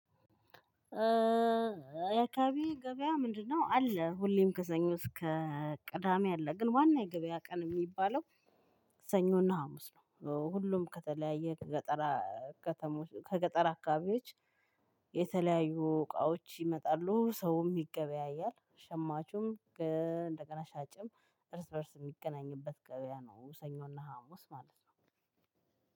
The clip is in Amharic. እ የአካባቢ ገበያ ምንድነው? አለ ሁሌም ከሰኞ እስከ ቅዳሜ አለ ግን ዋና የገበያ ቀን የሚባለው ሰኞና ሀሙስ ነው። ሁሉም ከተለያየ ከገጠራ ከተሞች ከገጠር አካባቢዎች የተለያዩ እቃዎች ይመጣሉ ሰውም ይገበያያል ሸማቹም እንደገና ሻጭም እርስ በእርስ የሚገናኝበት ገበያ ነው። ሰኞና ሀሙስ ማለት ነው።